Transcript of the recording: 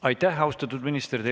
Aitäh, austatud minister!